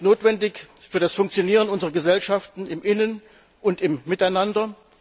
Sie ist notwendig für das Funktionieren unserer Gesellschaften intern und miteinander.